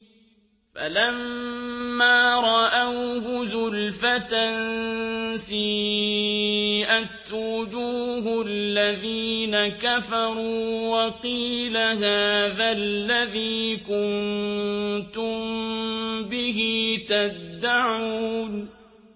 فَلَمَّا رَأَوْهُ زُلْفَةً سِيئَتْ وُجُوهُ الَّذِينَ كَفَرُوا وَقِيلَ هَٰذَا الَّذِي كُنتُم بِهِ تَدَّعُونَ